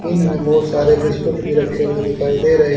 इनमें बहुत सारे बिस्किट भी रखे हुए दिखाई दे रहे--